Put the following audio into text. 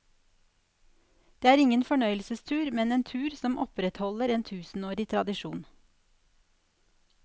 Det er ingen fornøyelsestur, men en tur som opprettholder en tusenårig tradisjon.